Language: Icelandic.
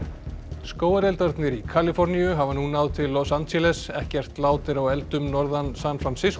skógareldarnir í Kaliforníu hafa nú náð til Los Angeles ekkert lát er á eldum norðan San